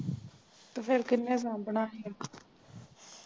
ਤੇ ਫਿਰ ਕਿੰਨੇ ਸਾਂਭਣਾ ਸੀ